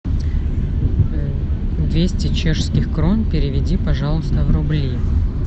двести чешских крон переведи пожалуйста в рубли